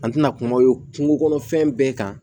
An tɛna kuma ye kungo kɔnɔ fɛn bɛɛ kan